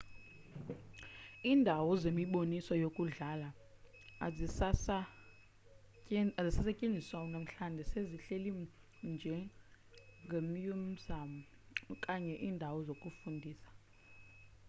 indawo zemiboniso yakudala azisasetyenziswa unamhlanje sezihleli njengemyuziyam okanye iindawo zokufundisa